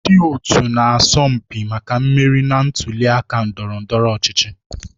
Ndị otu na-asọ mpi maka mmeri na ntuli aka ndọrọ ndọrọ ọchịchị.